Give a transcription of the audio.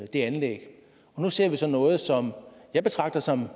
det anlæg nu ser vi så noget som jeg betragter som